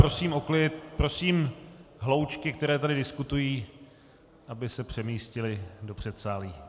Prosím hloučky, které tady diskutují, aby se přemístily do předsálí.